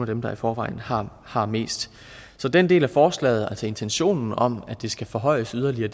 dem der i forvejen har har mest så den del af forslaget altså intentionen om at det skal forhøjes yderligere